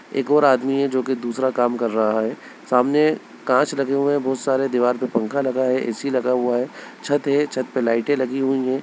एक और आदमी है जो की दूसरा काम कर रहा है सामने कांच लगे हुए हैं बहोत सारे दीवार पर पंखा लगा है ए.सी. लगा हुआ है छत है छत पे लाइटे लगी हुई हैं।